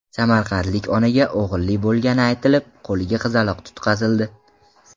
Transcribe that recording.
Samarqandlik onaga o‘g‘illi bo‘lgani aytilib, qo‘liga qizaloq tutqazildi.